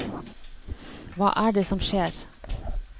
Hva er det som skjer?